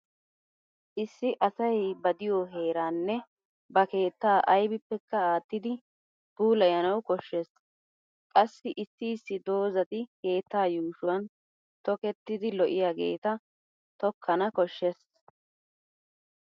Issi asay ba diyo heeraanne ba keettaa aybippekka aattidi puulayanawu koshshees. Qassi issi issi doozati keettaa yuushuwan toketidi lo'iyageeta tokkana koshshees.